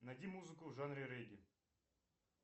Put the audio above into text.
найди музыку в жанре регги